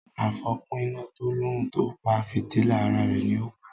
àfópína to l'òun o pá fìtílà àrà rẹ ní o pá.